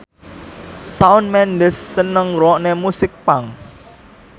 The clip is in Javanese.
Shawn Mendes seneng ngrungokne musik punk